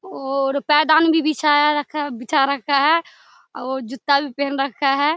और पायदान भी बिछाया रखा है बिछा रखा है और जूता भी पेहेन रखा है।